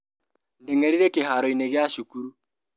Ndengerire kĩharoinĩ gia cukuru.